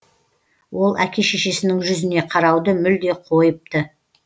ол әке шешесінің жүзіне қарауды мүлде қойыпты